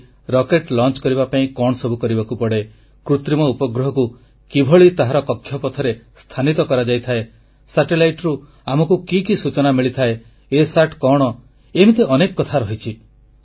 ଯେମିତିକି ରକେଟ ଉତକ୍ଷେପଣ ପାଇଁ କଣ ସବୁ କରିବାକୁ ପଡେ କୃତ୍ରିମ ଉପଗ୍ରହକୁ କିଭଳି ତାହାର କକ୍ଷପଥରେ ସ୍ଥାନିତ କରାଯାଇଥାଏ ଉପଗ୍ରହରୁ ଆମକୁ କି କି ସୂଚନା ମିଳିଥାଏ ଇସାଟ କଣ ଏମିତି ଅନେକ କଥା ରହିଛି